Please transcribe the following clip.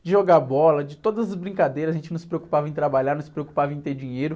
De jogar bola, de todas as brincadeiras, a gente não se preocupava em trabalhar, não se preocupava em ter dinheiro.